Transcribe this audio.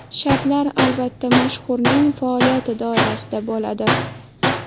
Shartlar, albatta, mashhurning faoliyati doirasida bo‘ladi.